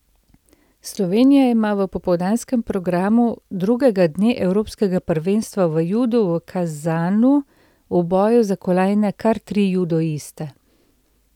Slovenija ima v popoldanskem programu drugega dne evropskega prvenstva v judu v Kazanu v boju za kolajne kar tri judoiste.